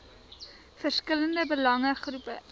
verskillende belange groepe